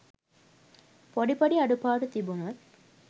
පොඩි පොඩි අඩුපාඩු තිබුණොත්